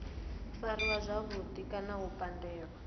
fariwa zwavhudi kana u pandelwa